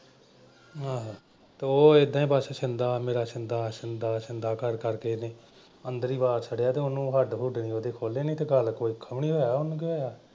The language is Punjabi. ਆਹੋ। ਤੇ ਉਹ ਏਦਾਂ ਈ ਬਸ ਛਿੰਦਾ ਮੇਰਾ ਛਿੰਦਾ ਛਿੰਦਾ ਕਰ ਕਰਕੇ ਓਦਾਂ ਈ ਅੰਦਰ ਈ ਵਾੜ ਛੱਡਿਆ। ਤੇ ਹੱਡ ਹੁਡ ਤੇ ਉਹਦੇ ਖੋਲ੍ਹੇ ਨਈਂ ਤੇ ਚੱਲ . ਉਹਨੂੰ ਕੀ ਹੋਇਆ?